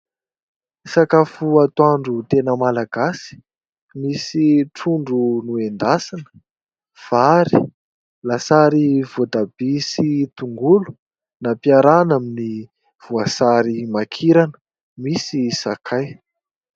Sakafo atoandro tena Malagasy misy trondro noendasina, vary, lasary voatabia sy tongolo nampiarahana amin'ny voasary makirana misy sakay.